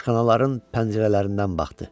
Aşxanaların pəncərələrindən baxdı.